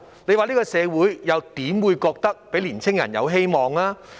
試問這個社會又怎會令年青人覺得有希望？